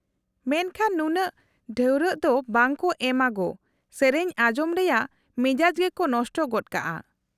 -ᱢᱮᱱᱠᱷᱟᱱ ᱱᱩᱱᱟᱹᱜ ᱰᱷᱟᱹᱣᱨᱟᱹᱜ ᱫᱚ ᱵᱟᱝ ᱠᱚ ᱮᱢᱟ ᱜᱳ, ᱥᱮᱹᱨᱮᱹᱧ ᱟᱸᱡᱚᱢ ᱨᱮᱭᱟᱜ ᱢᱮᱡᱟᱡ ᱜᱮᱠᱚ ᱱᱚᱥᱴᱚ ᱜᱚᱫ ᱠᱟᱜᱼᱟ ᱾